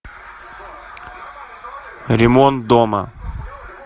ремонт дома